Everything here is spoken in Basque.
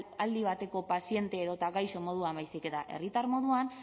aldi bateko paziente edota gaixo moduan baizik eta herritar moduan